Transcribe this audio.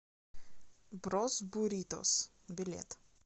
брос буритос билет